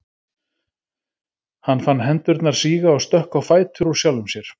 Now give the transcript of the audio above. Hann fann hendurnar síga og stökk á fætur úr sjálfum sér.